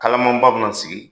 Kalamanba bɛ na sigi!